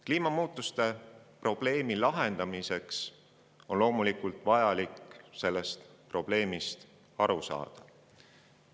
Kliimamuutuste probleemi lahendamiseks on loomulikult vajalik sellest probleemist aru saada.